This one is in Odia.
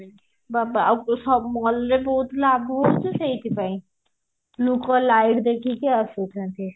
ବାବା ଆଉ ସ mall ରେ ବହୁତ ଲାଭ ହଉଛି ସେଇଥି ପାଇଁ ଲୋକ light ଦେଖିକି ଆସୁଛନ୍ତି